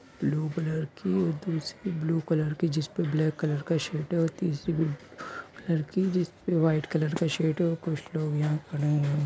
Blue colour की और दूसरी ब्लू कलर की जिसपे ब्लैक कलर का शेड है तीसरी ब्लू कलर की जिसपे व्हाइट कलर का शेड कुछ लोग यहाँ खड़े हुए है।